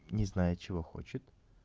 не знаю чего хочет